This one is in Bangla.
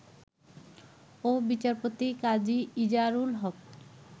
ও বিচারপতি কাজী ইজারুল হক